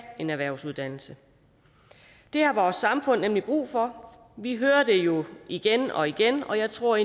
en erhvervsuddannelse det har vores samfund nemlig brug for vi hører det jo igen og igen og jeg tror